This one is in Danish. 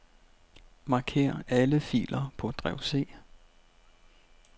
Marker alle filer på drev C.